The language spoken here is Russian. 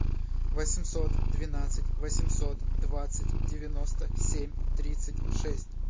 восемьсот двенадцать восемьсот двадцать девяносто семь тридцать шесть